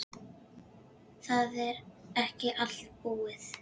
Það er ekki allt búið.